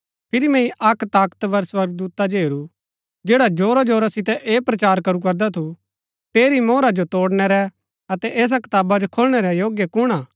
फिरी मैंई अक्क ताकतवर स्वर्गदूता जो हेरू जैडा जोरा जोरा सितै ऐह प्रचार करू करदा थू ठेरी मोहरा जो तोड़णै रै अतै ऐसा कताबा जो खोलणै रै योग्य कुण हा